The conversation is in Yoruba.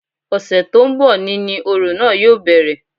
Ọ̀sẹ̀ tó ń bọ̀ ni ni òrò náà yóò bẹ̀rẹ̀